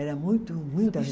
Era muito muita